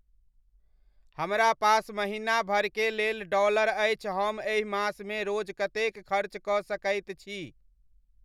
हमरा पास महीना भर के लेल डॉलर अछि हम एहि मास मे रोज कतेक खर्च क सकैत छी